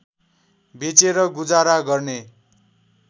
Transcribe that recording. बेचेर गुजारा गर्ने